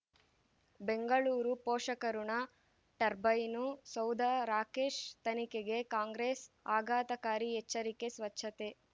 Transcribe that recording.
ಬೆಂಗಳೂರು ಪೋಷಕರಋಣ ಟರ್ಬೈನು ಸೌಧ ರಾಕೇಶ್ ತನಿಖೆಗೆ ಕಾಂಗ್ರೆಸ್ ಆಘಾತಕಾರಿ ಎಚ್ಚರಿಕೆ ಸ್ವಚ್ಛತೆ